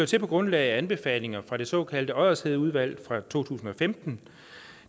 til på grundlag af anbefalinger fra det såkaldte oddershedeudvalg fra to tusind og femten